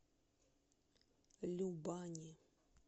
любани